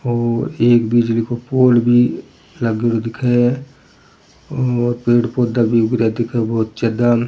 और एक बिजली को पोल भी लाग्योड़ो दिखे और पेड़ पौधा भी उगरिया दिखे बहुत ज्यादा।